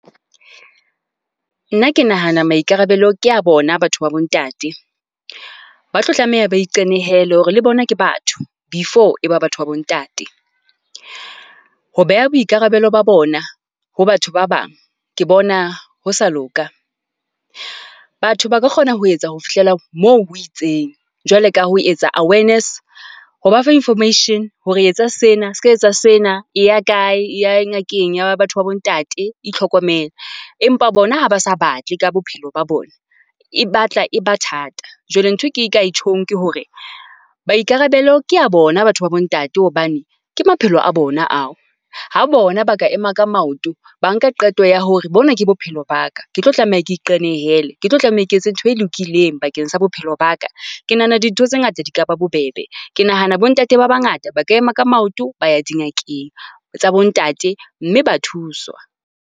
Nna ke nahana maikarabelo ke a bona batho ba bo ntate. Ba tlo tlameha ba iqenehele hore le bona ke batho, before e ba batho ba bo ntate. Ho beha boikarabelo ba bona ho batho ba bang, ke bona ho sa loka. Batho ba ka kgona ho etsa ho fihlela moo ho itseng jwale ka ho etsa awareness, ho ba fa information hore etsa sena, ska etsa sena, e ya kae e ya ngakeng ya batho ba bo ntate, itlhokomele. Empa bona ha ba sa batle ka bophelo ba bona, e batla e ba thata. Jwale nthwe ke ka e tjhong ke hore maikarabelo ke a bona batho ba bo ntate, hobane ke maphelo a bona ao. Ha bona ba ka ema ka maoto, ba nka qeto ya hore bona ke bophelo ba ka, ke tlo tlameha ke iqenehele, ke tlo tlameha ke etse ntho e lokileng bakeng sa bophelo ba ka. Ke nahana dintho tse ngata di ka ba bobebe, ke nahana bo ntate a bangata ba ka ema ka maoto, ba ya dingakeng tsa bo ntate mme ba thuswa.